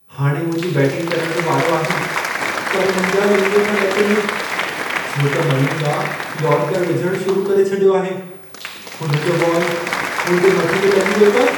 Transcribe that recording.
हाणे मुंहिंजी बैटिंग करण जो वारो आहे, पर मुंहिंजा लिङ था ॾकनि। छो त मलिंगा यॉर्करु विझणु शुरू करे छॾियो आहे। हुन जो बॉल मुंहिंजे मथे ते लॻी वियो त?